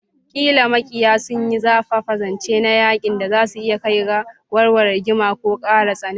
Ƙila maƙiyi sun yi zafafa, zance na yaƙi da za su iya kai ga warware rigima ko ƙara tsananta.